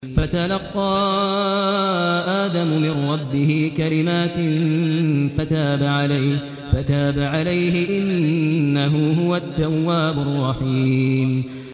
فَتَلَقَّىٰ آدَمُ مِن رَّبِّهِ كَلِمَاتٍ فَتَابَ عَلَيْهِ ۚ إِنَّهُ هُوَ التَّوَّابُ الرَّحِيمُ